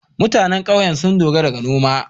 MutAnan ƙauye sun dogara da noma